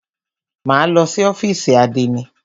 Máa lọ sí ọ́fìsì àdénì.